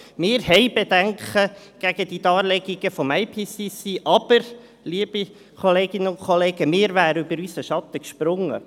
Wir haben Bedenken gegenüber den Darlegungen des IPCC, aber, liebe Kolleginnen und Kollegen, wir wären über unseren Schatten gesprungen.